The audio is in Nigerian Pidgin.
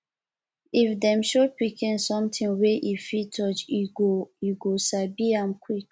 if dem show pikin something wey e fit touch e go e go sabi am quick